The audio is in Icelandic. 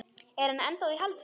Er hann ennþá í haldi?